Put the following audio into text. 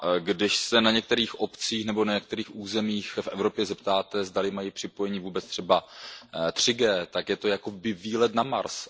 Když se v některých obcích nebo na některých územích v Evropě zeptáte, zdali mají připojení vůbec třeba 3G, tak je to jakoby výlet na Mars.